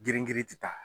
Girin girin ti taa